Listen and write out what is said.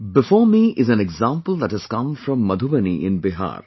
before me is an example that has come from Madhubani in Bihar